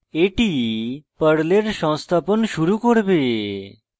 এটি পর্লের সংস্থাপন শুরু করবে